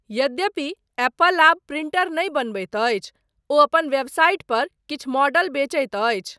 यद्यपि एप्पल आब प्रिंटर नहि बनबैत अछि, ओ अपन वेबसाइट पर किछु मॉडल बेचैत अछि।